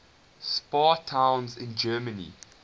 spa towns in germany